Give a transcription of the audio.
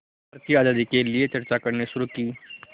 भारत की आज़ादी के लिए चर्चा करनी शुरू की